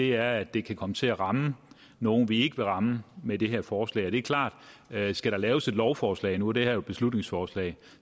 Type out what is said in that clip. er at det kan komme til at ramme nogle vi ikke vil ramme med det her forslag det er klart at skal der laves et lovforslag nu er det her et beslutningsforslag